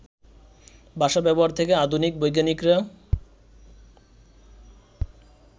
ভাষা-ব্যবহার থেকে আধুনিক বৈজ্ঞানিকেরা